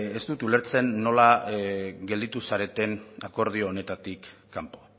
ez dut ulertzen nola gelditu zareten akordio honetatik kanpo